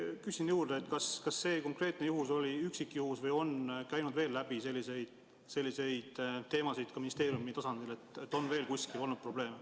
Küsin juurde, kas see konkreetne juhtum oli üksikjuhtum või on ministeeriumist läbi käinud, et on veel kuskil olnud selliseid probleeme.